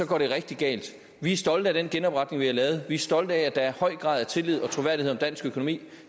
går det rigtig galt vi er stolte af den genopretning vi har lavet vi er stolte af at der er høj grad af tillid og troværdighed om dansk økonomi